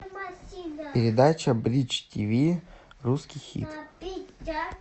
передача бридж ти ви русский хит